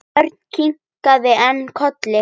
Örn kinkaði enn kolli.